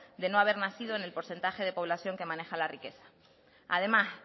de no haber nacido en el porcentaje de población que maneja la riqueza además